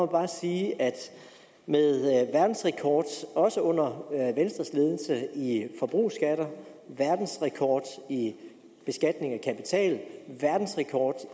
bare sige at med verdensrekord også under venstres ledelse i forbrugsskatter verdensrekord i beskatning af kapital verdensrekord